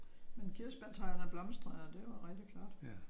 Men kirsebærtræerne blomstrede jo og det var rigtigt flot